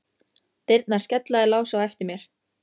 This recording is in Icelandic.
Dyrnar skella í lás á eftir mér.